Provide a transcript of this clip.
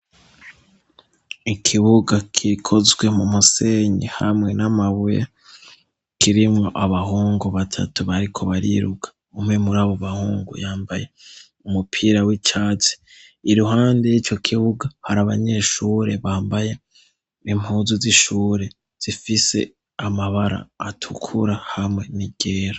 Ikibuga gikozwe mu musenyi hamwe n'amabuye, kirimwo abahungu batatu bariko bariruka, umwe muri abo bahungu yambaye umupira w'icatsi, iruhande y'ico kibuga hari abanyeshure bambaye impuzu z'ishure zifise amabara atukura hamwe n'iryera.